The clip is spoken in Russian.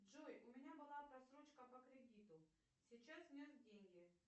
джой у меня была просрочка по кредиту сейчас внес деньги